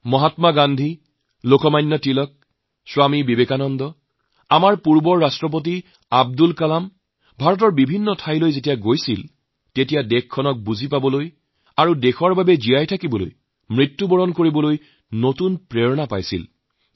মহাত্মা গান্ধী লোকমান্য তিলক স্বামী বিবেকানন্দ আমাৰ প্ৰাক্তন ৰাষ্ট্ৰপতি আব্দুল কালামজীএওঁলোকৰ প্ৰত্যেকেই যেতিয়া ভাৰত ভ্ৰমণ কৰিছে তেতিয়া তেওঁলোকে দেশক দেখাৰ বুজি পোৱাৰ দেশৰ বাবে জীয়াই থকাদেশ বাবে মৰিবলৈ এক নতুন প্ৰেৰণা জাগি উঠিছিল